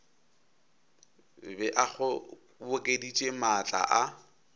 be a kgobokeditše maatla a